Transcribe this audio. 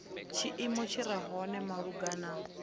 tshiimo tshi re hone malugana